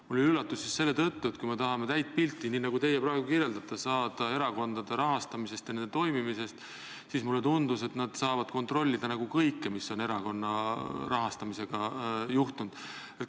See oli üllatus just selle tõttu, et kui me tahame saada täit pilti, nii nagu teie praegu kirjeldate, erakondade rahastamisest ja toimimisest, siis mulle tundub, et peab saama kontrollida kõike, mis on erakondade rahastamisega juhtunud.